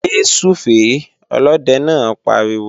Yé súfèé! Olóde náà pariwo